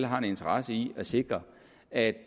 har en interesse i at sikre at